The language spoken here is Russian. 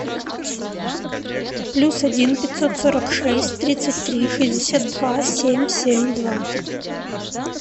плюс один пятьсот сорок шесть тридцать три шестьдесят два семь семь два